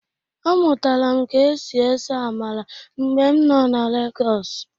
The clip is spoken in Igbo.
Amụtara m ka e si ese amala mgbe m nọ na Legọsụ.